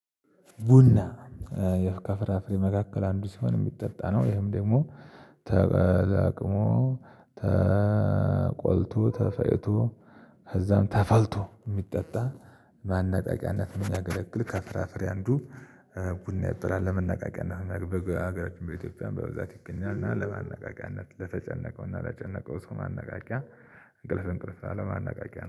ቡና የፍቃፍራፍሬ መካከል አንዱ ሲሆን፤ የሚጠጣ ነው ይሄም ደግሞ ተለቅሞ፤ ተቆልቶ፤ ተፈጭቶ፤ እዛም ተፈልቶ የሚጠጣ ለማናቃቂያነት የምያገለግል ከፍራፍሬ አንዱ ቡና ይበላል። ለመናቃቂያነት በኢትዮጵያ በብዛት ይገኛል እና ለማነቃቂያነት ለተጨነቀው እና ለጨነቀው ሰው ማነቃቂያ እንቅልፍ እንቅልፍ አለማነቃቂያ